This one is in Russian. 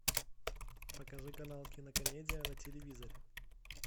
покажи канал кинокомедия на телевизоре